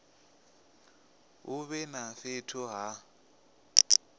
hu vhe na fhethu ha